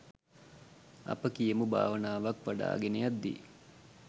අපි කියමු භාවනාවක් වඩාගෙන යද්දී